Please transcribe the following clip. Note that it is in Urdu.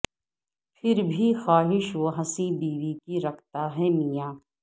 پھر بھی خواہش وہ حسیں بیوی کی رکھتا ہے میاں